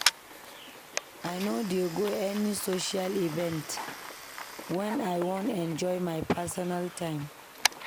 I no dey go any social event wen I wan enjoy my personal time.